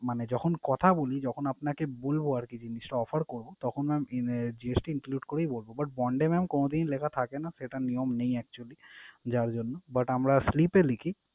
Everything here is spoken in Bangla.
মানে যখন কথা বলি যখন আপনাকে বলবো আরকি জিনিসটা offer করবো তখন mam GST include করেই বলবো but bond এ mam কোনদিন ই লেখা থাকে না, সেটা নিয়ম নেই actually যার জন্য but আমরা slip এ লিখি।